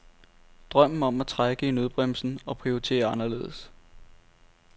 Drømmen om at trække i nødbremsen og prioritere anderledes.